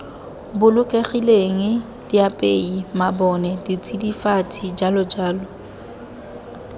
bolokegileng diapei mabone ditsidifatsi jj